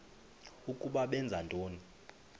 ukuba benza ntoni